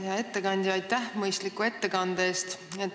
Hea ettekandja, aitäh mõistliku ettekande eest!